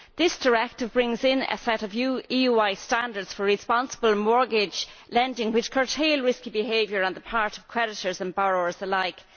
This directive brings in a set of new EU wide standards for responsible mortgage lending which curtail risky behaviour on the part of creditors and borrowers alike.